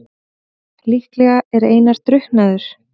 Líklega er Einar drukknaður.